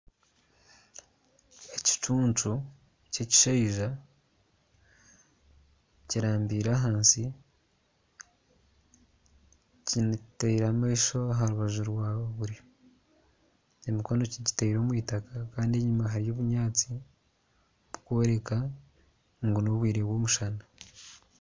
Ekicuncu ky'ekishaija kirambire ahansi kitaire amaisho aha rubaju rwa buryo, emikono kigitaire omu itaka kandi enyima hariyo obunyaatsi burikworeka ngu n'obwire bw'omushana